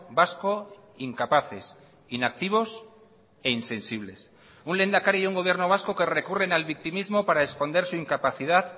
vasco incapaces inactivos e insensibles un lehendakari y un gobierno vasco que recurren al victimismo para esconder su incapacidad